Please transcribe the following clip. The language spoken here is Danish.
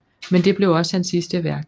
Men det blev også hans sidste værk